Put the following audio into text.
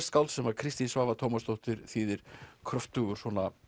skáld sem Kristín Svava Tómasdóttir þýðir kröftugur